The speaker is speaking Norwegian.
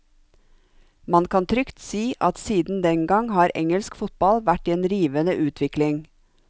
Man kan trygt si at siden den gang har engelsk fotball vært i en rivende utvikling.